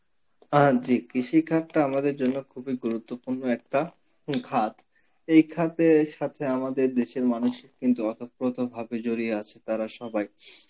আ জি কৃষি খাতটা আমাদের জন্য খুবই গুরুত্বপূর্ণ একটা উম খাত, এই খাতের সাথে আমাদের দেশের মানুষ কিন্তু অতপ্রত ভাবে জড়িয়ে আছে তারা সবাই.